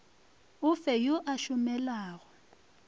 o fe yo a šomelago